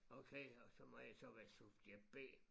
Okay og så må jeg så være subjekt B